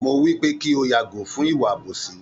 Mo wípé kí o yàgò fún ìwà àbòsí